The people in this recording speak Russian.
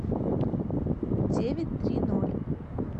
девять три ноль